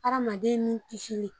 Adamaden nin kisili.